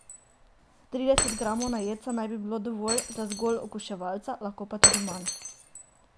Trideset gramov na jedca naj bi bilo dovolj, za zgolj okuševalca lahko tudi manj.